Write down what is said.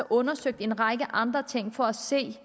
undersøgt en række andre ting for at se